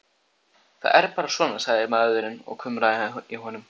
Það er bara svona, sagði maðurinn og kumraði í honum.